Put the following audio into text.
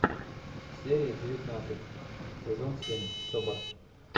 серия девятнадцать сезон семь собр